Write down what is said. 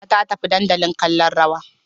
Hajara ta tafi dandali kallon rawa